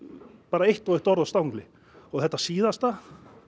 eitt og eitt orð á stangli og þetta síðasta